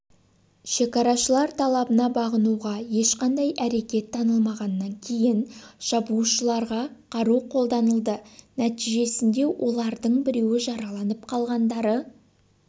шекарашылар талабына бағынуға ешқандай әрекет танытылмағаннан кейін шабуылшыларға қару қолданылды нәтижесінде олардың біреуі жараланып қалғандары